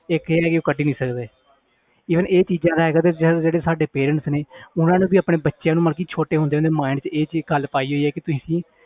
ਇੱਕ ਇਹ ਹੈ ਕਿ ਉਹ ਕੱਢ ਹੀ ਨੀ ਸਕਦੇ even ਇਹ ਚੀਜ਼ਾਂ ਲੈ ਕੇ ਤੇ ਜਿਹੜੇ ਸਾਡੇ parents ਨੇ ਉਹਨਾਂ ਨੂੰ ਵੀ ਆਪਣੇ ਬੱਚਿਆਂ ਨੂੰ ਮਤਲਬ ਕਿ ਛੋਟੇ ਹੁੰਦੇ ਉਹਦੇ mind 'ਚ ਇਹੀ ਗੱਲ ਪਾਈ ਹੋਈ ਹੈ ਕਿ ਤੁਸੀਂ